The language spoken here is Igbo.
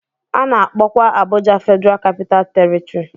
A na-akpọkwa Abuja Federal Capital Territory.